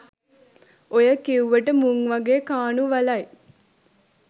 ඔය කිව්වට මුන් වගේ කානු වලයි